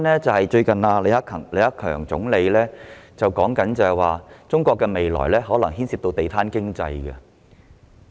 最近，李克強總理表示中國的未來發展可能牽涉"地攤經濟"。